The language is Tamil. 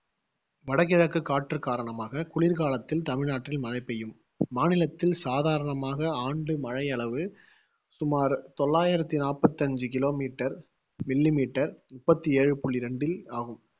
வடகிழக்கு காற்று காரணமாக குளிர்காலத்தில் தமிழ்நாட்டில் மழை பெய்யும். மாநிலத்தில் சாதாரணமாக ஆண்டு மழையளவு சுமார் தொள்ளாயிரத்தி நாப்பத்தி அஞ்சு kilometer millimeter முப்பத்தி ஏழு புள்ளி ரெண்டில் ஆகும்.